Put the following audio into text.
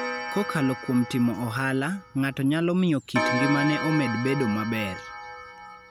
Kokalo kuom timo ohala, ng'ato nyalo miyo kit ngimane omed bedo maber.